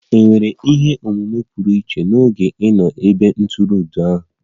È nwere ihe omume pụrụ iche n'oge ị nọ n'ebe ntụrụndụ ahụ?